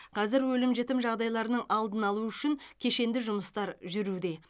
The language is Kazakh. қазір өлім жітім жағдайларының алдын алу үшін кешенді жұмыстар жүруде